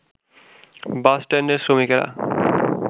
বাসষ্ট্যান্ডের শ্রমিকরা